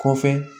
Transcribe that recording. Kɔfɛ